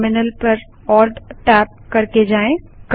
terminal ALTTab पर जाएँ